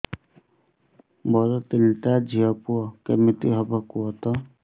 ମୋର ତିନିଟା ଝିଅ ପୁଅ କେମିତି ହବ କୁହତ